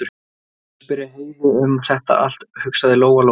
Best að spyrja Heiðu um þetta allt, hugsaði Lóa Lóa.